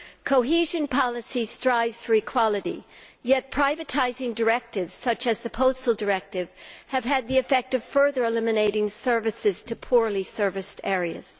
Cohesion policy strives for equality, yet privatising directives, such as the Postal Directive, have had the effect of further eliminating services to poorly serviced areas.